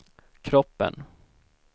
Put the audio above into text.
kroppen